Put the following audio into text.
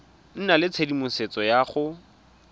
nna le tshedimosetso ya go